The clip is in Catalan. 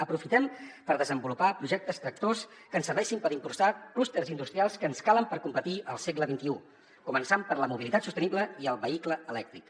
aprofitem per desenvolupar projectes tractors que ens serveixin per impulsar clústers industrials que ens calen per competir al segle xxi començant per la mobilitat sostenible i el vehicle elèctric